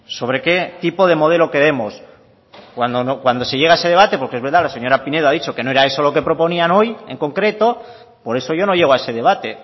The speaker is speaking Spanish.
sobre qué tipo de modelo queremos cuando se llega a ese debate porque es verdad que la señora pinedo ha dicho que no era eso lo que proponían hoy en concreto por eso yo no llego a ese debate